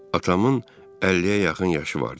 Atamın 50-yə yaxın yaşı vardı.